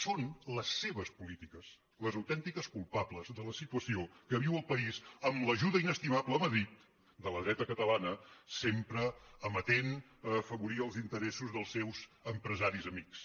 són les seves polítiques les autèntiques culpables de la situació que viu el país amb l’ajuda inestimable a madrid de la dreta catalana sempre amatent a afavorir els interessos dels seus empresaris amics